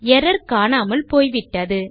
error காணாமல் போய்விட்டது